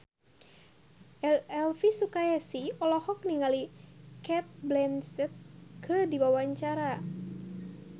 Elvy Sukaesih olohok ningali Cate Blanchett keur diwawancara